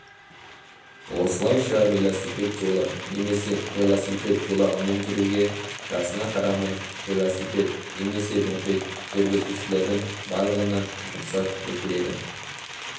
осылайша велосипед жолы немесе велосипед жолағымен жүруге жасына қарамай велосипед немесе мопед жүргізушілердің барлығына рұқсат етіледі